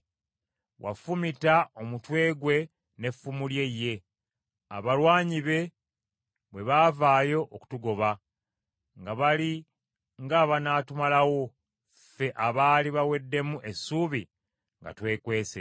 Wafumita omutwe gwe n’effumu lye ye, abalwanyi be bwe baavaayo okutugoba, nga bali ng’abanaatumalawo, ffe abaali baweddemu essuubi nga twekwese.